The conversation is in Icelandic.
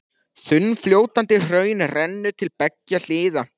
Þunnfljótandi hraun rennur til beggja hliða.